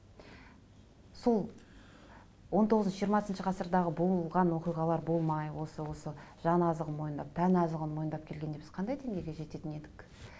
сол он тоғызыншы жиырмасыншы ғасырдағы болған оқиғалар болмай осы осы жан азығын мойындап тән азығын мойындап келгенде біз қандай деңгейге жететін едік